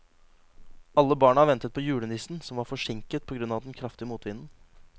Alle barna ventet på julenissen, som var forsinket på grunn av den kraftige motvinden.